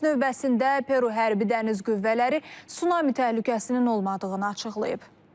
Öz növbəsində Peru hərbi dəniz qüvvələri sunami təhlükəsinin olmadığını açıqlayıb.